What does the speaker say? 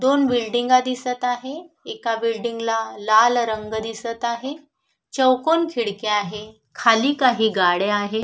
दोन बिल्डिंगा दिसत आहे एका बिल्डिंग ला लाल रंग दिसत आहे चौकोन खिडक्या आहे खाली काही गाड्या आहेत.